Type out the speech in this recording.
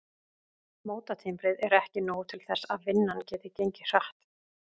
Mótatimbrið er ekki nóg til þess að vinnan geti gengið hratt.